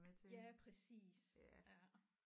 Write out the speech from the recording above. Ja præcis ja